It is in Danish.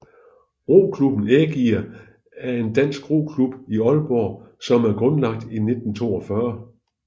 Roklubben Ægir er en dansk roklub i Aalborg som er grundlagt i 1942